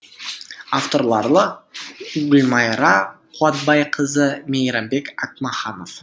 авторлары гүлмайра қуатбайқызы мейрамбек ақмаханов